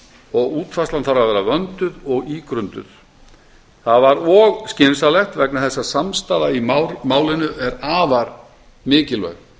og útfærslan þarf að vera vönduð og ígrunduð það var og skynsamlegt vegna þess að samstaða í málinu er afar mikilvæg